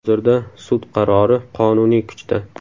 Hozirda sud qarori qonuniy kuchda.